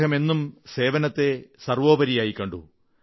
അദ്ദേഹം എന്നും സേവനത്തെ സർവ്വോപരിയായി കണ്ടു